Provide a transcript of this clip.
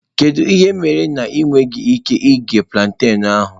Kedu ihe mere ị nweghị ike ighe plantain ahụ?